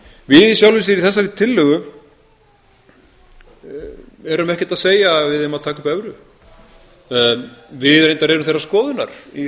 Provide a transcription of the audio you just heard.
við í sjálfu sér í þessari tillögu erum ekkert að segja að við eigum að taka upp evru við reyndar erum þeirrar skoðunar í